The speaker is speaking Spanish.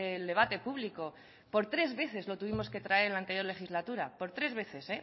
el debate público por tres veces lo tuvimos que traer en la anterior legislatura por tres veces